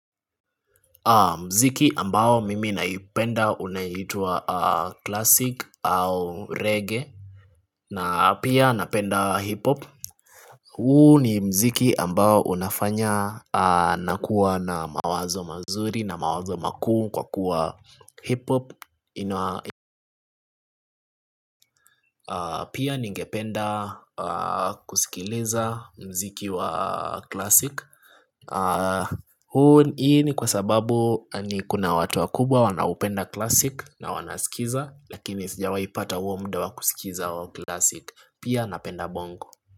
Mziki ambao mimi naipenda unayitwa klasik au reggae na pia napenda hip hop Hu ni mziki ambao unafanya nakuwa na mawazo mazuri na mawazo makuu kwa kuwa hip hop Pia ningependa kusikiliza mziki wa clasic huu ni kwa sababu ni kuna watu wa kubwa wanaupenda classic na wanasikiza lakini sijawai pata uo muda wa kusikiza wa classic Pia napenda bongo.